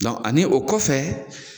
ani o kɔfɛ.